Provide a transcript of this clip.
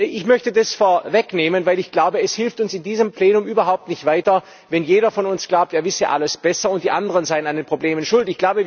Ich möchte das vorwegnehmen, weil ich glaube, es hilft uns in diesem Plenum überhaupt nicht weiter, wenn jeder von uns glaubt, er wisse alles besser und die anderen seien an den Problemen schuld.